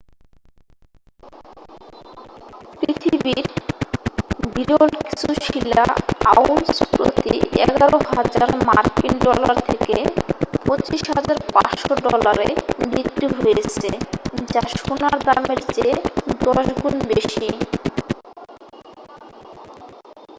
পৃথিবীর বিরল কিছু শিলা আউন্স প্রতি 11,000 মার্কিন ডলার থেকে 22,500 ডলারে বিক্রি হয়েছে যা সোনার দামের চেয়ে 10 গুণ বেশি।